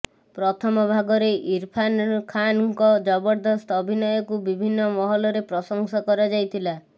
ପ୍ରଥମ ଭାଗରେ ଇରଫାନ୍ ଖାନ୍ଙ୍କ ଜବରଦସ୍ତ ଅଭିନୟକୁ ବିଭିନ୍ନ ମହଲରେ ପ୍ରଶଂସା କରାଯାଇଥିଲା